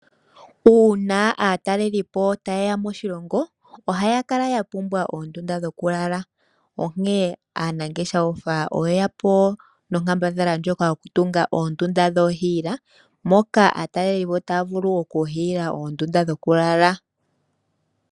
Uuna aatalelelipo taye ya moshilongo ohaya kala ya pumbwa oondunda dhokulala onkene aanangeshefa oyeya po nonkambadhala ndjoka yokutunga oondunda dhoohiila moka aatalelelipo taya vulu okuhiila oondunda dhokulala.